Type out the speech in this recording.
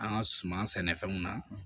An ka suman sɛnɛfɛnw na